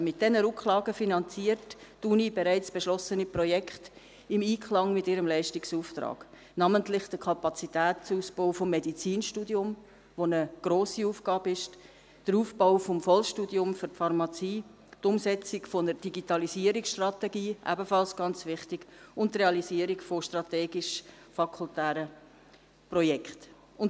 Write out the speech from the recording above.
Mit diesen Rücklagen finanziert die Universität bereits beschlossene Projekte im Einklang mit ihrem Leistungsauftrag, namentlich den Kapazitätsausbau des Medizinstudiums – was eine grosse Aufgabe ist –, den Aufbau des Vollstudiums für die Pharmazie, die Umsetzung einer Digitalisierungsstrategie – ebenfalls ganz wichtig – und die Realisierung von strategischen fakultären Projekten.